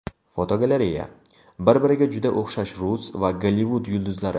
Fotogalereya: Bir-biriga juda o‘xshash rus va Gollivud yulduzlari.